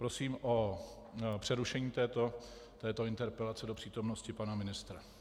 Prosím o přerušení této interpelace do přítomnosti pana ministra.